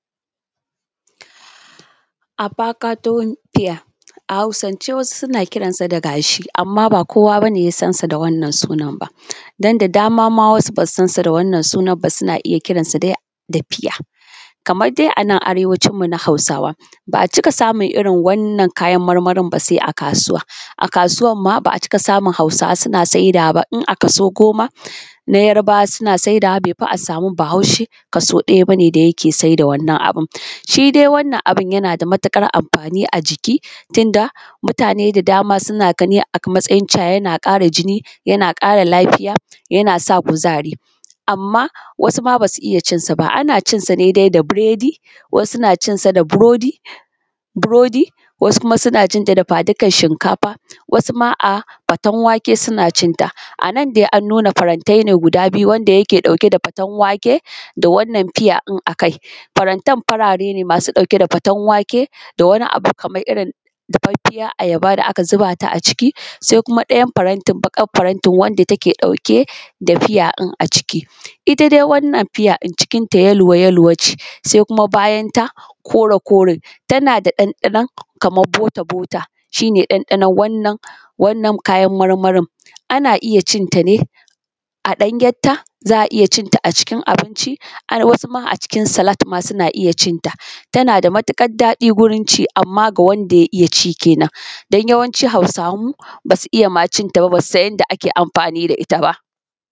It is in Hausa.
wasuma suna cinsa da dafadikan shinkafa wasu ma a faten wake. Suna cinta anan dai an nuna farantai ne guda biyu wanda yake ɗauke da faten wake, da wannan fiya ɗin akai, farantan farare ne masu ɗauke da faten wake da wani abu irrin bafaffiyar ayaba ne aka zubata a ciki, sai kuma ɗayan farantin baƙar farantin baƙan farantin wanda take ɗauke da fiya ɗin a ciki. Itta dai wannan fiya cikin ta yelo yelo ne sai kuma bayanta kore kore tanada ɗanɗanon kaman bota bota shine ɗanɗanon wannan kayan marmarin. Ana cinta ne a ɗanyenta za’a iyya cinta a cikin abinci, a cikin salat ma ana cinta tanada matuƙar daɗi wurinci amma ga wanda ya iyyaci kenan dan yawanci hausawan mu basu iyya ma cinta ba basusan yanda ake amfani da itta ba